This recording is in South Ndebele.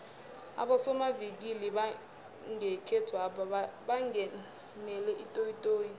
abosomavikili bangekhethwapha bangenele itoyitoyi